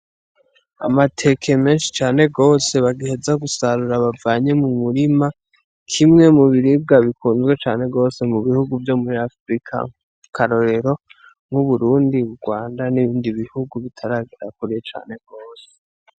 Amateke menshi cane gose bagiheza gusarura bavanye mu murima, kimwe mu biribwa bikunzwe cane gose mu bihugu vyo muri Afurika, akarorero nk'Uburundi, Urwanda n'ibindi bihugu bitaragera kure cane gose.